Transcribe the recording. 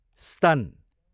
स्तन